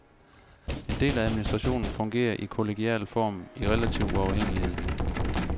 En del af administrationen fungerer i kollegial form i relativ uafhængighed.